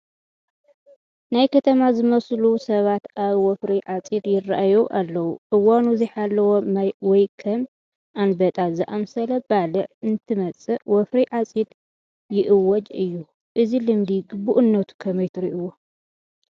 ናይ ከተማ ዝመስሉ ሰባት ኣብ ወፍሪ ዓፂድ ይርአዩ ኣለዉ፡፡ እዋኑ ዘይሓለወ ማይ ወይ ከም ኣንበጣ ዝኣምሰለ ባልዕ እንትመፅእ ወፍሪ ዓፂድ ይእወጅ እዩ፡፡ እዚ ልምዲ ግቡእነቱ ከመይ ትሪእይዎ?